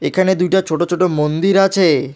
এখানে দুইটা ছোট ছোট মন্দির আছে।